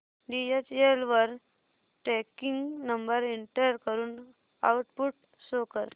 DHL वर tracking number enter करून output show कर